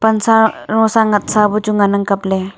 ansa rosa ngatsa buchu ngan ang kapley.